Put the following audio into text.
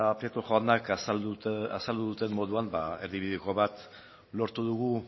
prieto jaunak azaldu duten moduan erdibideko bat lortu dugu